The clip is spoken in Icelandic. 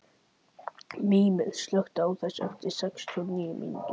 Mímir, slökktu á þessu eftir sextíu og níu mínútur.